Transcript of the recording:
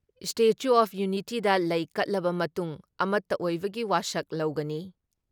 Statue of ꯌꯨꯅꯤꯇꯤꯗ ꯂꯩ ꯀꯠꯂꯕ ꯃꯇꯨꯡ ꯑꯃꯠꯇ ꯑꯣꯏꯕꯒꯤ ꯋꯥꯁꯛ ꯂꯧꯒꯅꯤ ꯫